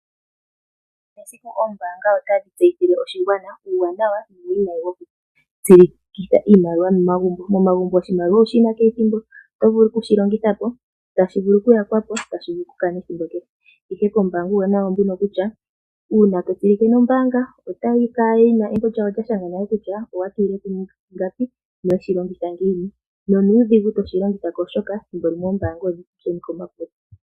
Kehe esiku ombanga otadhitseyithile oshingwana uwanawa nuwinayi wokutsilikitha iimaliwa momagumbo, momagumbo oshimaliwa owushina methimbo otovulu okushi longithapo, tashivulu okuyakwapo , tashivulu okukana thimbo kehe ihe kombanga uwanawa wawo ombuno kutya una totsilike nombanga otalikala lina embo kutya owatulileko ingapi noweshilongitha ngiini nonudhingu toshilongithako oshoka thimbo limwe oombanga odhili kokule.